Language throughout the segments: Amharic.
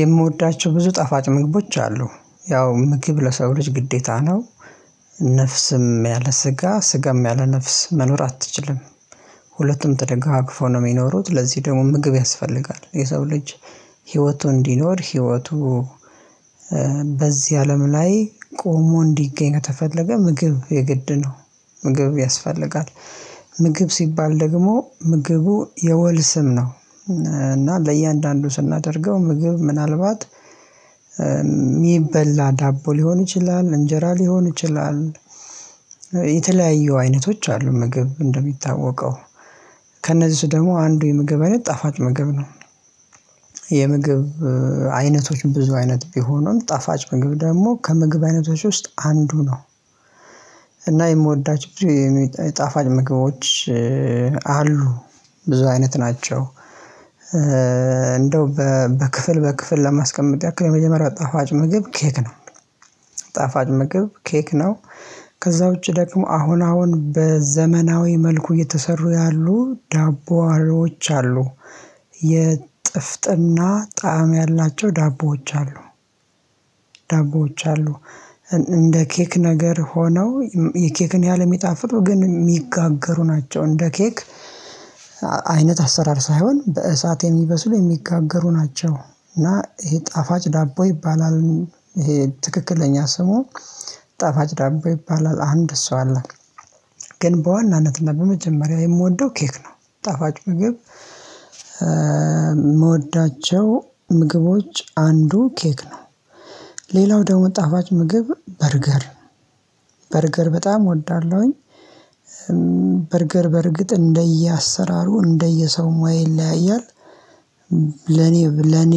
የምወዳቸው ብዙ ጠፋጭ ምግቦች አሉ ያው ምግብ ለሰው ልጅ ግዴታ ነው። ነፍስም ያለ ስጋ ስጋም ያለ ነፍስ መኖር አትችልም። ሁለቱም ተደጋግፎ ነው ሚኖሩት ለዚህ ደግሞ ምግብ ያስፈልጋል የሰው ልጅ። ህይወቱ እንዲኖር ህይወቱ በዚህ አለም ላይ ቆሞ እንዲገኝ ከተፈለገ ምግብ የግድ ነው። ምግብ ያስፈልጋል። ምግብ ሲባል ደግሞ ምግቡ የወል ስም ነው እና ለእያንዳንዱ ስናደርገው ምግብ ምናልባት ሚበላ ዳቦ ሊሆን ይችላል እንጀራ ሊሆን ይችላል። የተለያየ አይነቶች አሉ ምግብ እንደሚታወቀው ከእነዚህ ደግሞ አንዱ የምግብ አይነት ጣፋጭ ምግብ ነው። የምግብ አይነቶች ብዙ አይነት ቢሆኑም ጣፋጭ ምግብ ደግሞ ከምግብ አይነቶች ውስጥ አንዱ ነው። እና የምወዳቸው ጣፋጭ ምግቦች አሉ ብዙ አይነት ናቸው። እንደው በክፍል በክፍል ለማስቀመጥ ያክል የመጀመሪያ ጣፋጭ ምግብ ኬክ ነው። ጣፋጭ ምግብ ኬክ ነው። ከዛ ውጪ ደግሞ አሁን አሁን በዘመናዊ መልኩ የተሰሩ ያሉ ዳቦአሪዎች አሉ። የጥፍጥና ጣዕም ያላቸው ዳቦዎች አሉ። ዳቦዎች አሉ እንደ ኬክ ነገር ሆነው የኬክን ያህል የሚጣፍጡ ግን ሚጋገሩ ናቸው እንደ ኬክ። አይነት አሰራር ሳይሆን በእሳት የሚበስሉ የሚጋገሩ ናቸው እና ይሄ ጣፋጭ ዳቦ ይባላል። ይሄ ትክክለኛ ስሙ ጣፋጭ ዳቦ ይባላል። አንድ እሱ አለ ግን በዋናነትና በመጀመሪያ የምወደው ኬክ ነው ጠፋጭ ምግብ። ምወዳቸው ምግቦች አንዱ ኬክ ነው። ሌላው ደግሞ ጣፋጭ ምግብ በርገር በርገር በጣም እወዳለሁኝ። በርገር በርግጥ እንደየ አሰራሩ እንደየ ሰው ሙያ ይለያያል። ለኔ ለኔ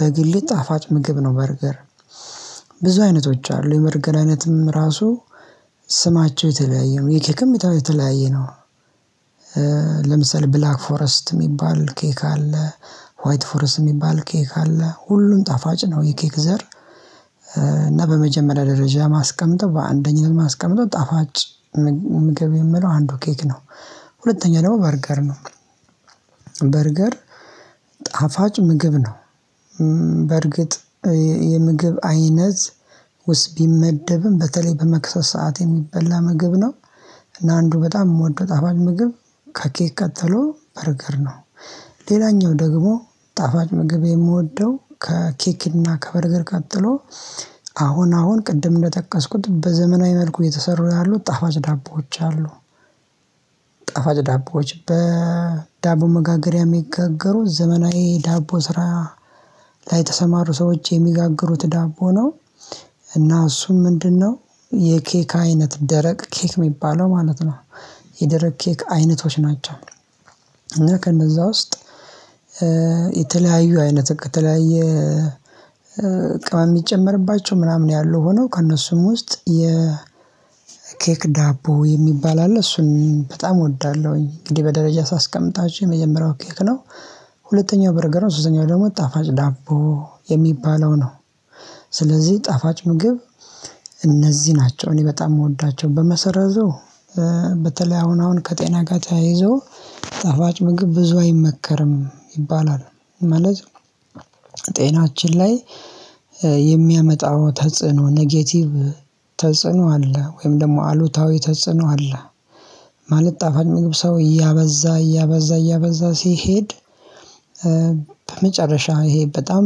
በግሌ ጣፋጭ ምግብ ነው በርገር ብዙ አይነቶች አሉ የበርገር አይነትም ራሱ ስማቸው የተለያየ ነው የኬክም የታው የተለያየ ነው። ለምሳሌ ብላክ ፎረስት ሚባል ኬክ አለ። ዋይት ፎረስት ሚባል ኬክ አለ ሁሉም ጣፋጭ ነው። የኬክ ዘር እና በመጀመሪያ ደረጃ ማስቀመጠው በአንደኝነት ማስቀመጠው ጣፋጭ ምግብ የምለው አንዱ ኬክ ነው። ሁለተኛ ደግሞ በርገር ነው። በርገር ጣፋጭ ምግብ ነው በርግጥ የምግብ አይነት ውስጥ ቢመደብም በተለይ በመክሰስ ሰዓት የሚበላ ምግብ ነው። እና አንዱ በጣም የምወደው ጣፋጭ ምግብ ከኬት ቀጠሎ በርገር ነው። ሌላኛው ደግሞ ጣፋጭ ምግቤ የምወደው ከኬክና ከበርገር ቀጥሎ አሁን አሁን ቅድም እንደጠቀስኩት በዘመናዊ መልኩ የተሰሩ ያሉት ጣፋጭ ዳቦዎች አሉ። ጣፋጭ ዳቦዎች በዳቦ መጋገሪያ የሚጋገሩ ዘመናዊ ዳቦ ስራ ላይ የተሰማሩ ሰዎች የሚጋግሩት ዳቦ ነው እና እሱም ምንድን ነው የኬክ አይነት ደረቅ ኬክ ሚባለው ማለት ነው? የደረቅ ኬክ አይነቶች ናቸው። እና ከነዛ ውስጥ የተለያዩ አይነት ከተለያየ ቅመም ሚጨመርባቸው ምናምን ያሉ ሆነው ከእነሱም ውስጥ የኬክ ዳቦ የሚባል አለ እሱን በጣም እወዳለሁኝ እንግዲህ በደረጃ ሳስቀምጣችሁ የመጀመሪያው ኬክ ነው። ሁለተኛው በርገር ነው ሶስተኛው ደግሞ ጣፋጭ ዳቦ የሚባለው ነው። ስለዚህ ጣፋጭ ምግብ እነዚህ ናቸው እኔ በጣም ምወዳቸው በመሰረዘው በተለይ አሁን አሁን ከጤና ጋር ተያይዞ ጣፋጭ ምግብ ብዙ አይመከርም ይባላል። ማለት ጤናችን ላይ የሚያመጣው ተጽዕኖ ኔጌቲቭ ተጽዕኖ አለ ወይም ደግሞ አሉታዊ ተጽዕኖ አለ። ማለት ጣፋጭ ምግብ ሰው እያበዛ እያበዛ እያበዛ ሲሄድ በመጨረሻ ይሄ በጣም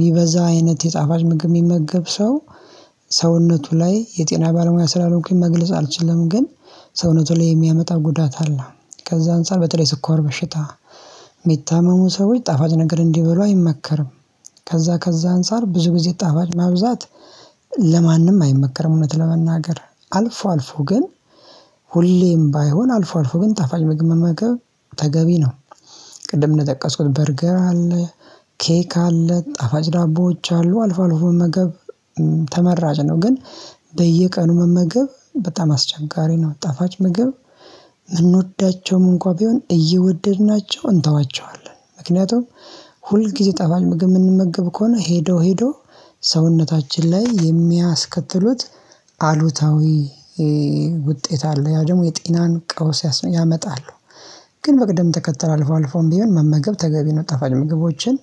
ሚበዛ አይነት የጣፋጭ ምግብ የሚመገብ ሰው ሰውነቱ ላይ የጤና ባለሙያ ስላልሆንኩኝ መግለጽ አልችልም ግን ሰውነቱ ላይ የሚያመጣ ጉዳት አለ። ከዛ አንፃር በጥሬ ስኳር በሽታ ሚታመሙ ሰዎች ጣፋጭ ነገር እንዲበሉ አይመከርም። ከዛ ከዛ አንፃር ብዙ ጊዜ ጣፋጭ ማብዛት ለማንም አይመከርም እውነት ለመናገር አልፎ አልፎ ግን ሁሌም ባይሆን አልፎ አልፎ ግን ጣፋጭ ምግብ መመገብ ተገቢ ነው። ቅድም እንደጠቀስኩት በርገር አለ ኬክ አለ ጣፋጭ ዳቦዎች አሉ አልፎ አልፎ መመገብ ተመራጭ ነው። ግን በየቀኑ መመገብ በጣም አስቸጋሪ ነው። ጣፋጭ ምግብ ምንወዳቸውም እንኳን ቢሆን እየወደድናቸው እንተዋቸዋለን ምክንያቱም ሁል ጊዜ ጣፋጭ ምግብ የምንመገብ ከሆነ ሄዶ ሄዶ ሰውነታችን ላይ የሚያስከትሉት አሉታዊ ውጤት አለ ያ ደግሞ የጤናን ቀውስ ያመጣሉ። ግን በቅደም ተከተል አልፎ አልፎ እንዲሆን መመገብ ተገቢ ነው። ጣፋጭ ምግቦችን